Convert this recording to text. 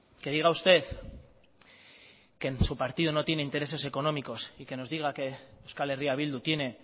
que diga usted que en su partido no tiene intereses económicos y que nos diga que euskal herria bildu tiene